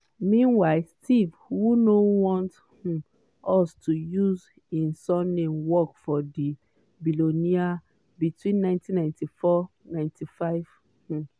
meanwhile steve who no want um us to use im surname work for di billionaire between 1994-95. um